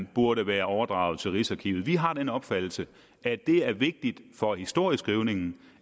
burde være overdraget til rigsarkivet vi har den opfattelse at det er vigtigt for historieskrivningen